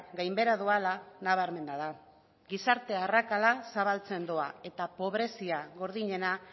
gainbehera doala nabarmena da gizarte arrakada zabaltzen doa eta pobrezia gordinena